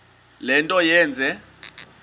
le nto yenze